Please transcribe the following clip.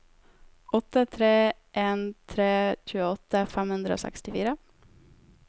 åtte tre en tre tjueåtte fem hundre og sekstifire